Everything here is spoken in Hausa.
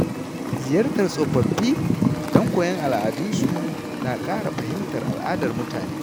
Ziyartar tsofaffi don koyon al’adunsu na ƙara fahimtar al’adar mutane.